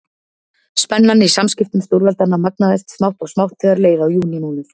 Spennan í samskiptum stórveldanna magnaðist smátt og smátt þegar leið á júlímánuð.